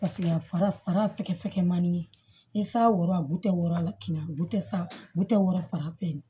Paseke a fara fɛkɛ man di ni saya wora bu tɛ wɔrɔn a la kin tɛ sa bu tɛ wɔɔrɔ fara fɛrɛ